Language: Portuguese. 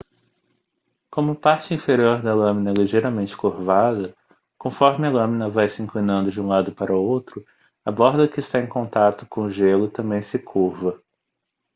como a parte inferior da lâmina é ligeiramente curvada conforme a lâmina vai se inclinando de um lado para outro a borda que está em conato com o gelo também se curva